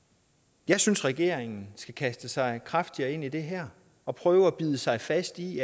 jeg synes at regeringen skal kaste sig kraftigere ind i det her og prøve at bide sig fast i